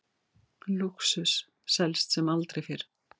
Lúxus selst sem aldrei fyrr